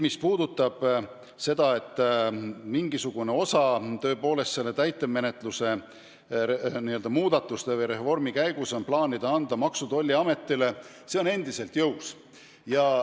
Mis puudutab seda, et mingisugune töölõik on täitemenetluse muudatuste või reformi käigus plaanis anda Maksu- ja Tolliametile, siis see mõte on endiselt jõus.